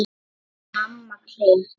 Í Mamma klikk!